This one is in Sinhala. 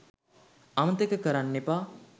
අමතක කරන්නෙපා